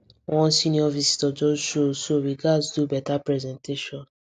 one senior visitor just show so we gats do better presentation